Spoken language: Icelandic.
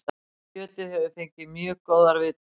Kjötið hefur fengið mjög góðar viðtökur